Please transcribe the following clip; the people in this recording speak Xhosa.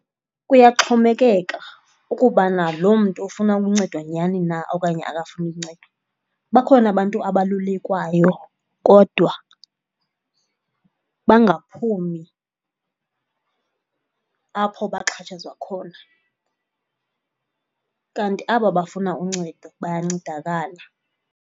Kuyaxhomekeka ukubana lo mntu ofuna ukuncedwa nyhani na okanye akafuni uncedo. Bakhona abantu abalulekwayo kodwa bangaphumi apho baxhatshazwa khona, kanti aba bafuna uncedo bayancedakala.